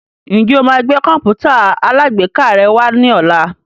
Ǹjẹ́ o máa gbé Kọ̀m̀pútà alágbèéká rẹ wá ní ọ̀la?